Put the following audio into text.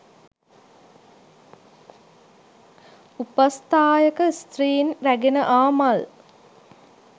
උපස්ථායක ස්ත්‍රීන් රැගෙන ආ මල්